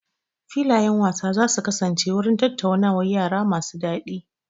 Filayen wasa za su kasance wurin tattaunawar yara masu daɗi.